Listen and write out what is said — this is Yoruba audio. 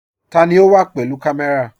Tani o wa pẹ̀lú kamé̩ra?